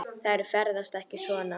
Þær ferðast ekki svona.